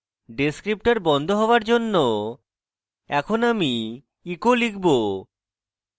descriptor বন্ধ হওয়ার পর এখন আমি echo লিখব